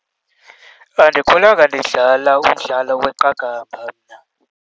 Andikhulanga ndidlala umdlalo weqakamba mna.